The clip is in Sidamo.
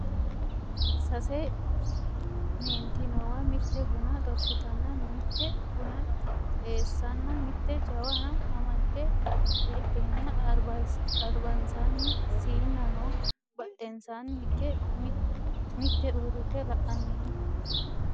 sase meenti noowa mitte buna xorshitanna mitte buna xeessanna mitte jawana amadde heedheenna albansaanni siinna no badhensaanni higge mitte uurrite la'anni no